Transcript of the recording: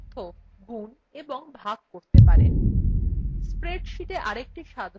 একইভাবে আপনি বিভিন্ন সেলের তথ্য গুন এবং ভাগ করতে পারেন